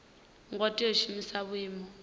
ngo tea u shumisa vhuimo